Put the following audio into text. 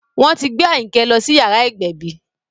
Wọ́n ti gbé Àyìnkẹ́ lọ sí yàrá ìgbẹ̀bí